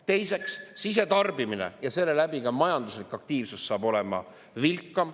Teiseks, sisetarbimine ja seeläbi ka majanduslik aktiivsus saab olema vilkam.